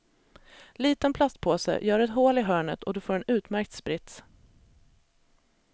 Liten plastpåse, gör ett hål i hörnet och du får en utmärkt sprits.